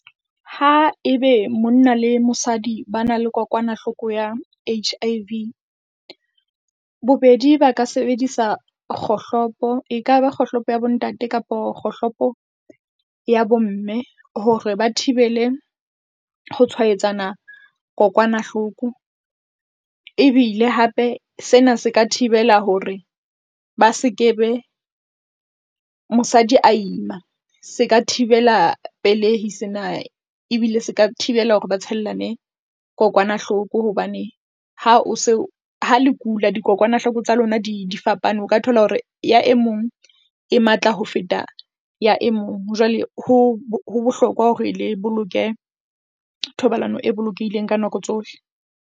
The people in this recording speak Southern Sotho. Haebe monna le mosadi ba na le kokwanahloko ya H_I_V, bobedi ba ka sebedisa kgohlopo, ekaba kgohlopo ya bontate kapo kgohlopo ya bomme hore ba thibele ho tshwaetsana kokwanahloko. Ebile hape sena se ka thibela hore ba sekebe mosadi a ima, se ka thibela pelehi sena. Ebile se ka thibela hore ba tshellane kokwanahloko hobane ha o se ha le kula, dikokwanahloko tsa lona di fapane. O ka thola hore ya e mong e matla ho feta ya e mong. Jwale ho ho bohlokwa hore le boloke thobalano e bolokehileng ka nako tsohle.